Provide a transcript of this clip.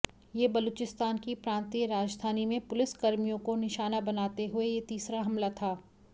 ये बलूचिस्तान की प्रांतीय राजधानी में पुलिसकर्मियों को निशाना बनाते हुए ये तीसरा हमला था